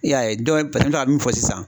I y'a ye a bɛ min fɔ sisan